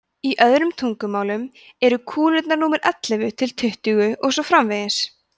í öðrum tugnum eru kúlur númer ellefu til tuttugu og svo framvegis